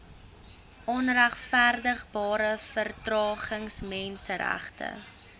onregverdigbare vertragings menseregte